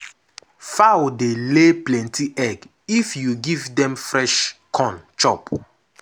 fowl dey lay plenty egg if you give dem fresh corn chop.